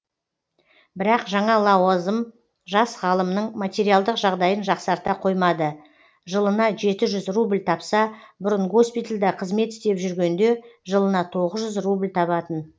бірақ жаңа лауазым жас ғалымның материалдық жағдайын жақсарта қоймады жылына жеті жүз рубль тапса бұрын госпитальде қызмет істеп жүргенде жылына тоғыз жүз рубль табатын